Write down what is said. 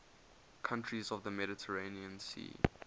countries of the mediterranean sea